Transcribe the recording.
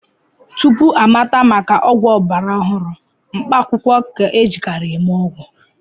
Tupu amata maka ọgwụ ọgbara ọhụrụ, mkpaakwụkwọ ka-ejikarị eme ọgwụ